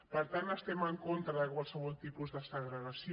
per tant estem en contra de qualsevol tipus de segregació